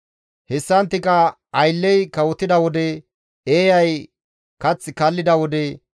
Hessanttika aylley kawotida wode, eeyay kath kallida wode,